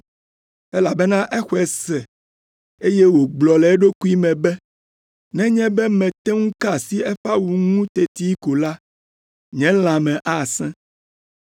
elabena exɔe se, eye wògblɔ le eɖokui me be, “Nenye be mete ŋu ka asi eƒe awu ŋu teti ko la, nye lãme asẽ.”